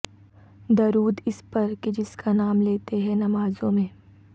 درود اس پر کہ جس کا نام لیتے ہیں نمازوں میں